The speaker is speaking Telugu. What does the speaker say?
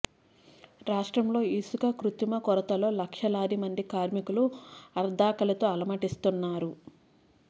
రాష్ట్రంలో ఇసుక కృత్రిమ కొరతతో లక్షలాది మంది కార్మికులు అర్ధాకలితో అలమటిస్తున్నారన్నారు